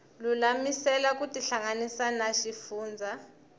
lulamisela ku tihlanganisa na xifundzha